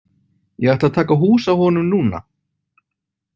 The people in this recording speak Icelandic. Ég ætla að taka hús á honum núna.